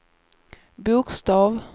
bokstav